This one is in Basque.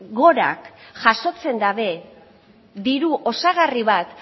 gora jasotzen dute diru osagarri bat